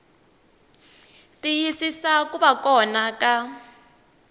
tiyisisa ku va kona ka